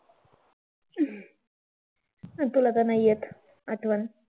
तुला तर नाही येत आठवण.